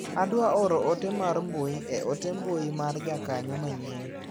Adwaro oro otemar mbui e ote mbui mar jakanyo manyien.